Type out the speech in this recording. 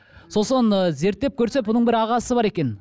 сосын ы зерттеп көрсе бұның бір ағасы бар екен